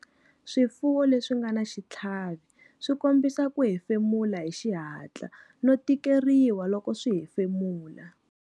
Swifuwo leswi nga na xitlhavi swi kombisa ku hefemula hi xihatla no tikeriwa loko swi hefemula.